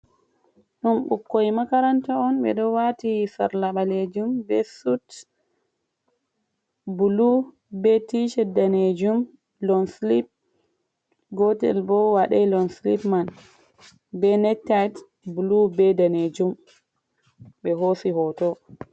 Ɗum ɓukkoi makaranta on. Ɓe ɗo waati sarla ɓaleejum, be sut bulu, be ticet daneejum lon slip, gootel bo waɗai lon slip man, be nektay bulu, be daneejum ɓe hoosi hoto.